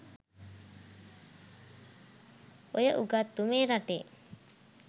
ඔය උගත්තු මේ රටේ